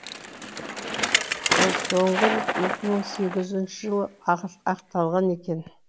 ол соңғы рет екі мың сегізінші жылы атқылаған екен